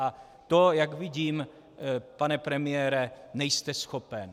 A to, jak vidím, pane premiére, nejste schopen.